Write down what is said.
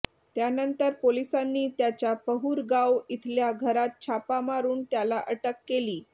त्यानंतर पोलिसांनी त्याच्या पहुर गाव इथल्या घरात छापा मारुन त्याला अटक केली